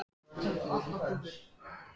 Hann vann því sitt verk þegjandi og þjáður.